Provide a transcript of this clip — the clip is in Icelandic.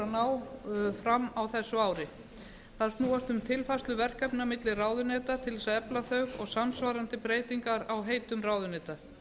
að ná fram á þessu ári þær snúast um tilfærslu verkefna milli ráðuneyta til þess að efla þau og samsvarandi breytingar á heitum ráðuneyta